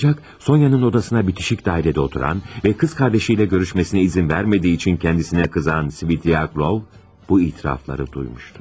Ancaq Soniyanın odasına bitişik dairede oturan və qız qardaşıyla görüşməsinə izin vermədiyi üçün kendisinə kızan Svidrigaylov bu itirafları duymuşdur.